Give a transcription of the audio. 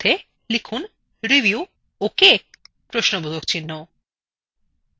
এখন এর মধ্যে review okay লিখুন